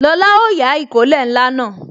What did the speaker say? Lóla ó yá ìkó ilẹ̀ ńlá